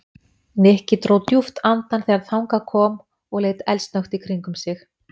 Nikki dró djúpt andann þegar þangað kom og leit eldsnöggt í kringum sig.